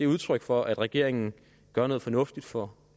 udtryk for at regeringen gør noget fornuftigt for